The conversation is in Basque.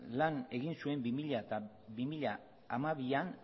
lan egin zuen bi mila hamabian